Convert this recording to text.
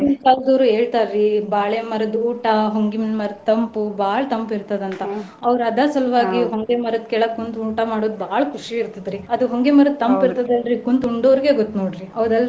ಹೇಳ್ತಾರಿ ಬಾಳೆ ಮರದ್ ಊಟ, ಹೊಂಗಿನ್ ಮರದ್ ತಂಪು ಬಾಳ್ ತಂಪು ಇರ್ತದಂತ ಅವ್ರ ಅದರ ಸಲ್ವಾಗಿ ಹೊಂಗೆ ಮರದ ಕೆಳಗ್ ಕುಂತ್ ಊಟ ಮಾಡೋದ್ ಬಾಳ ಖುಷಿ ಇರ್ತೆತ್ರಿ. ಅದು ಹೊಂಗೆ ಮರದ್ ತಂಪು ಇರ್ತದಲ್ರಿ ಕುಂತ್ ಉಂಡೊವ್ರಿಗೆ ಗೊತ್ತ್ ನೋಡ್ರಿ. ಹೌದಲ್ರಿ?